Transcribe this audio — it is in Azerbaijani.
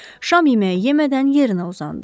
Şam yeməyi yemədən yerinə uzandı.